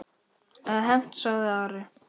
Eða hefnt, sagði Ari.